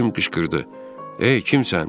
Jim qışqırdı: "Ey kimsən?"